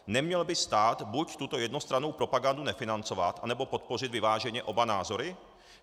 Neměl by stát buď tuto jednostrannou propagandu nefinancovat, anebo podpořit vyváženě oba názory?